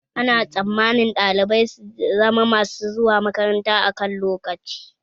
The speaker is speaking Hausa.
Ana tsammanin ɗalibai su zama mash zuwa makaranta akan lokaci